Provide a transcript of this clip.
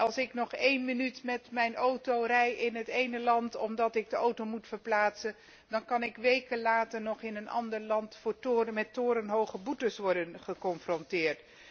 Als ik nog één minuut met mijn auto rijdt in het ene land omdat ik de auto moet verplaatsen, dan kan ik weken later nog in een ander land met torenhoge boetes worden geconfronteerd.